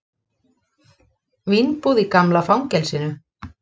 Vínbúð í gamla fangelsinu